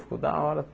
Ficou da hora.